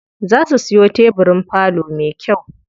Za su siyo tebirin falo me kyau.